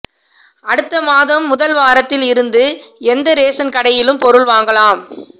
அடுத்த மாதம் முதல் வாரத்தில் இருந்து எந்த ரேசன் கடையிலும் பொருள் வாங்கலாம்